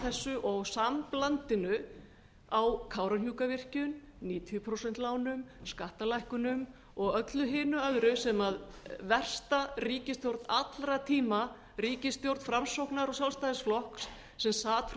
þessu og samblandinu á kárahnjúkavirkjun níutíu prósent lánum skattalækkunum og öllu hinu öðru sem versta ríkisstjórn allra tíma ríkisstjórn framsóknar og sjálfstæðisflokks sem sat